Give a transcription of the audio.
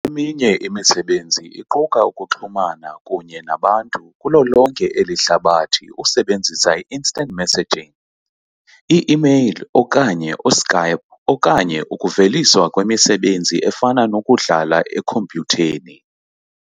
Eminye imisebenzi iquka ukuxhumana, kunye nabantu kulo lonke eli hlabathi usebenzisa i- Instant messaging, i-emeyile okanye u-Skype okanye ukuveliswa kwemisebenzi efana nokudlala ekhompyutheni.